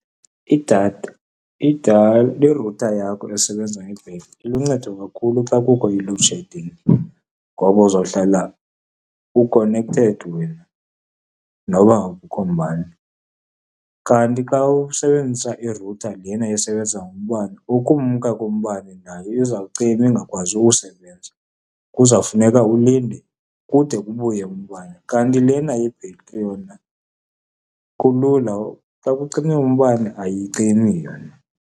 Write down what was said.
Idatha, irutha yakho esebenza ngebhetri iluncedo kakhulu xa kukho i-load shedding ngoba uzohlala u-connected wena noba akukho mbane. Kanti xa usebenzisa irutha lena esebenza ngombane, ukumka kombane nayo izawucima ingakwazi ukusebenza. Kuzawufuneka ulinde kude kubuye umbane, kanti lena yebhetri yona kulula, xa kucime umbane ayicimi yona.